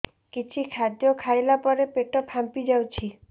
କିଛି ଖାଦ୍ୟ ଖାଇଲା ପରେ ପେଟ ଫାମ୍ପି ଯାଉଛି